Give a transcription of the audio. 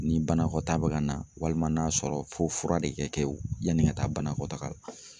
Ni banakɔtaa bɛ ka na walima n'a sɔrɔ fo fura de ka kɛ wo yanni ka taa banakɔtaaga la.